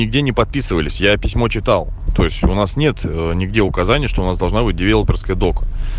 нигде не подписывались я письмо читал то есть у нас нет нигде указания что у нас должна быть девелоперская долж